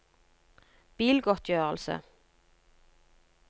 bilgodtgjørelse